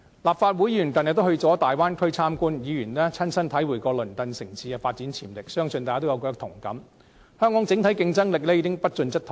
立法會議員近日到大灣區參觀，議員親身體會到鄰近城市的發展潛力，相信大家也有同感，香港的整體競爭力已經不進則退。